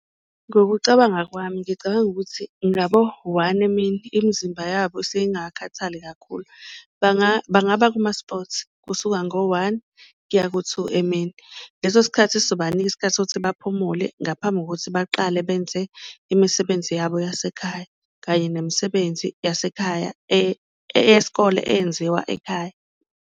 Ngokucabanga kwami ngicabanga ukuthi ngabo one emini imizimba yabo esuke ingakakhathali kakhulu, bangabanga kuma-sports kusuka ngo-one kuya ku-two emini, leso sikhathi sizobanika isikhathi sokuthi baphumule ngaphambi kokuthi baqale benze imisebenzi yabo yasekhaya. Kanye nemisebenzi yasekhaya eyesikole eyenziwa ekhaya.